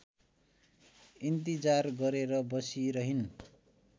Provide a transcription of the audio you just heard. इन्तिजार गरेर बसिरहिन्